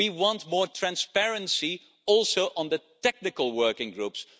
We want more transparency also on the technical working groups.